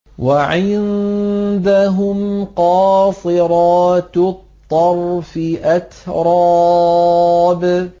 ۞ وَعِندَهُمْ قَاصِرَاتُ الطَّرْفِ أَتْرَابٌ